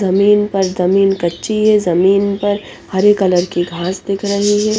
जमीन पर जमीन कच्ची है जमीन पर हरे कलर की घास दिख रही है।